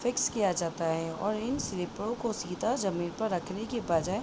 fix किया जाता है और इन स्लीपरों को सीधा जमीन पर रखने के बजाय --